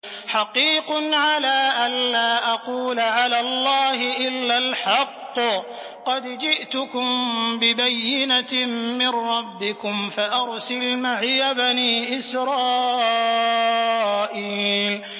حَقِيقٌ عَلَىٰ أَن لَّا أَقُولَ عَلَى اللَّهِ إِلَّا الْحَقَّ ۚ قَدْ جِئْتُكُم بِبَيِّنَةٍ مِّن رَّبِّكُمْ فَأَرْسِلْ مَعِيَ بَنِي إِسْرَائِيلَ